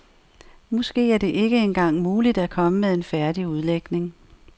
Måske er det ikke engang muligt at komme med en færdig udlægning.